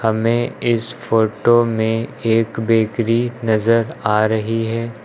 सामने इस फोटो में एक बेकरी नजर आ रही है।